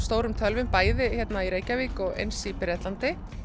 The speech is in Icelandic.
stórum tölvum bæði hérna í Reykjavík og eins í Bretlandi